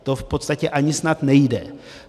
To v podstatě snad ani nejde.